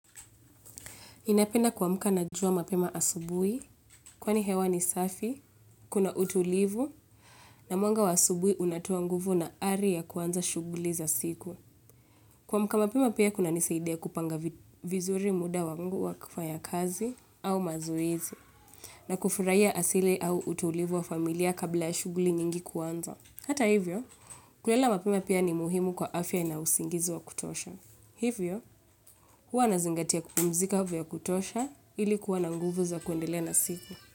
Ninapenda kuamka na jua mapema asubuhi, kwani hewa ni safi, kuna utulivu, na mwanga wa asubuhi unatoa nguvu na ari ya kuanza shughuli za siku. Kuamka mapema pia kunanisaidia kupanga vizuri muda wangu wa kufanya kazi au mazoezi, na kufurahia asili au utulivu wa familia kabla ya shughuli nyingi kuanza. Hata hivyo, kulala mapema pia ni muhimu kwa afya na usingizi wa kutosha. Hivyo, huwa nazingatia kupumzika vya kutosha ili kuwa na nguvu za kuendelea na siku.